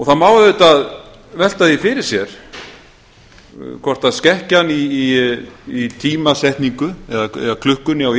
það má auðvitað velta því fyrir sér hvort skekkjan í tímasetningu eða klukkunni á